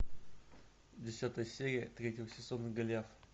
десятая серия третьего сезона голиаф